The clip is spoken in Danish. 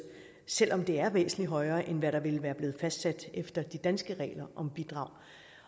selv om det er væsentlig højere end hvad der ville være blevet fastsat efter de danske regler om bidrag